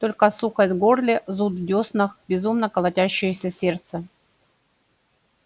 только сухость в горле зуд в дёснах безумно колотящееся сердце